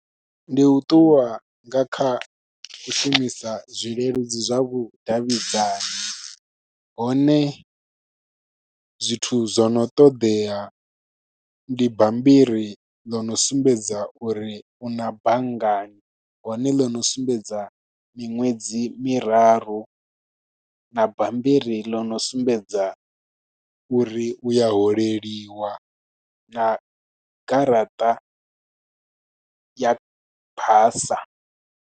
Ndi u ṱuwa nga kha u shumisa zwileludzi zwa vhudavhidzani, hone zwithu zwo no ṱoḓea ndi bambiri ḽo no sumbedza uri u na banngani. Hone ḽo no sumbedza miṅwedzi miraru, na bammbiri ḽo no sumbedza uri u ya holeliwa, na garaṱa ya basa.